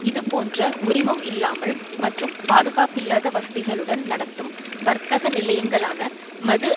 இதுபோன்ற உரிமம் இல்லாமல் மற்றும் பாதுகாப்பில்லாத வசதிகளுடன் நடத்தும் வர்த்தக நிலையங்களான மது